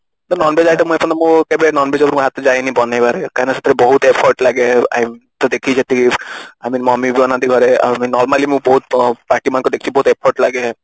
ତ Non Veg item ମୁଁ ଏ ପର୍ଯ୍ୟନ୍ତ ମୁଁ କେବେ Non Veg ଉପରକୁ ମୋ ହାତ ଯାଏନି ବନେଇବାରେ କାରଣ ସେଟାରେ ବହୁତ effort ଲାଗେ ତ ଦେଖିଛି ସେଠି I mean mummy ବନାନ୍ତି ଘରେ I mean normally ମୁଁ ବହୁତ party ମାନଙ୍କରେ ଦେଖିଛି ବହୁତ effort ଲାଗେ